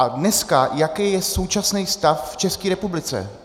A dneska, jaký je současný stav v České republice?